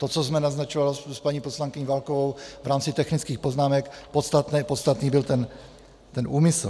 To, co jsme naznačovali s paní poslankyní Válkovou v rámci technických poznámek, podstatný byl ten úmysl.